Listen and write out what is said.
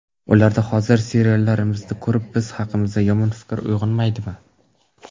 Ularda hozirgi seriallarimizni ko‘rib, biz haqimizda yomon fikr uyg‘onmaydimi?